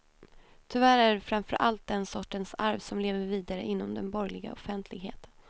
Tyvärr är det framför allt den sortens arv som lever vidare inom den borgerliga offentligheten.